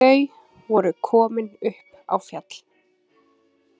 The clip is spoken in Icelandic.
Þau voru komin upp á fjall.